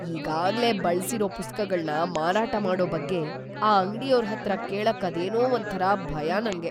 ಈಗಾಗ್ಲೇ ಬಳ್ಸಿರೋ ಪುಸ್ತಕಗಳ್ನ ಮಾರಾಟ ಮಾಡೋ ಬಗ್ಗೆ ಆ ಅಂಗ್ಡಿಯೋರ್‌ ಹತ್ರ ಕೇಳಕ್ಕೆ ಅದೇನೋ ಒಂಥರ ಭಯ ನಂಗೆ.